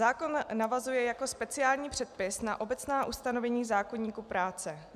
Zákon navazuje jako speciální předpis na obecná ustanovení zákoníku práce.